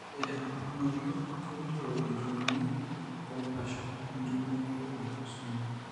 Ore enapukunoto keilio ejung'uni tepashon enjung'oto eautosomal.